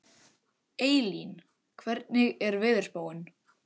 Eylín, hvernig er veðurspáin?